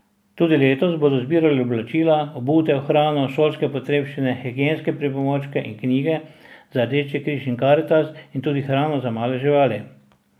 Tudi letos bodo zbirali oblačila, obutev, hrano, šolske potrebščine, higienske pripomočke in knjige za Rdeči križ in Karitas in tudi hrano za male živali.